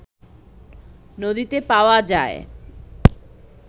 নদীতে পাওয়া যায়